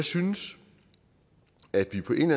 synes at vi på en